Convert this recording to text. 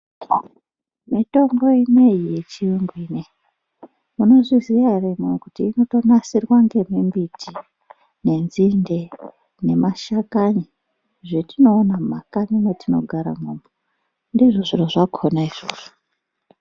Mitombo ineiyi yechirungu ineyi, munozviziya here imimi kuti inotonasirwa ngemimbiti, nenzinde nemashakani, zvetinoona mumakanyi mwetinogara imwomwo? Ndizvo zviro zvakona izvozvo.